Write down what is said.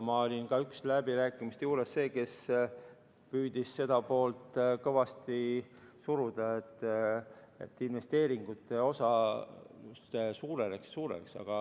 Ma olin ka läbirääkimistel üks neist, kes püüdis kõvasti suruda seda poolt, et investeeringute osa suureneks.